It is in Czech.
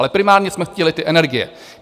Ale primárně jsme chtěli ty energie.